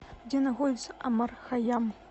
где находится омар хайям